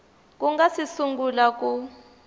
ku nga si sungula ku